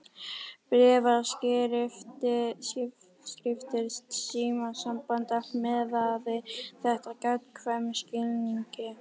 Bréfaskriftir, símasamband, allt miðaði þetta að gagnkvæmum skilningi.